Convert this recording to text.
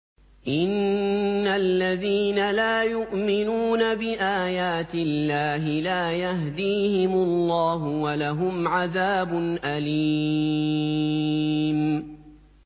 إِنَّ الَّذِينَ لَا يُؤْمِنُونَ بِآيَاتِ اللَّهِ لَا يَهْدِيهِمُ اللَّهُ وَلَهُمْ عَذَابٌ أَلِيمٌ